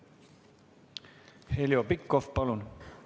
Heljo Pikhof, palun!